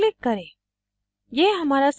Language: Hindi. save पर click करें